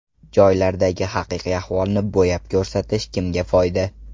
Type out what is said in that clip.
Joylardagi haqiqiy ahvolni bo‘yab ko‘rsatish kimga foyda?